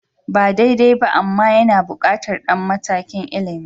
Ba daidai ba amma yana buƙatar ɗan matakin ilimi